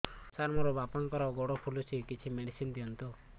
ସାର ମୋର ବାପାଙ୍କର ଗୋଡ ଫୁଲୁଛି କିଛି ମେଡିସିନ ଦିଅନ୍ତୁ